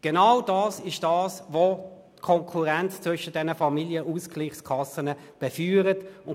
Es ist genau das, was die Konkurrenz zwischen den Familienausgleichskassen befeuert.